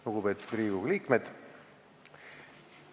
Lugupeetud Riigikogu liikmed!